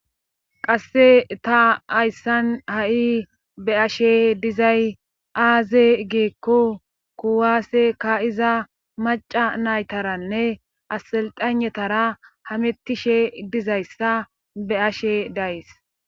qasse ta ayssan ha7i be ashe dizay aaze geekko kuwaase ka iza maca naytaranne aselxanetara hamettishe dizayssa be ashe days